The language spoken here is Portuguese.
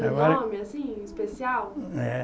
Tem algum nome, assim, especial? É